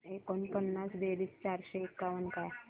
एकोणपन्नास बेरीज चारशे एकावन्न काय